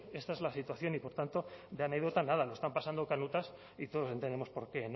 esta es la situación y por tanto de anécdota nada lo están pasando canutas y todos entendemos por qué